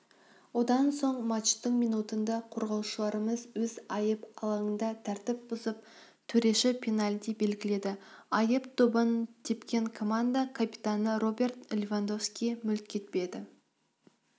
одан соң матчтың минутында қорғаушыларымыз өз айып алаңында тәртіп бұзып төрешіпенальти белгіледі айып добын тепкенкоманда капитаны роберт левандовски мүлт кетпеді